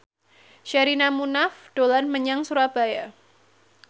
Sherina Munaf dolan menyang Surabaya